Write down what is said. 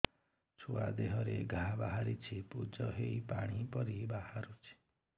ଛୁଆ ଦେହରେ ଘା ବାହାରିଛି ପୁଜ ହେଇ ପାଣି ପରି ବାହାରୁଚି